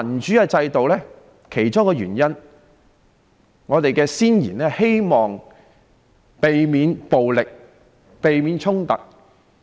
其中的一個原因是，我們的先賢希望能避免暴力及衝突。